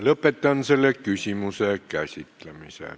Lõpetan selle küsimuse käsitlemise.